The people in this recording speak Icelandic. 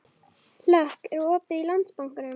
Hlökk, er opið í Landsbankanum?